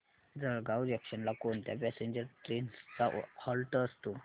Jalgaon junction ला कोणत्या passenger trains चा हॉल्ट असतो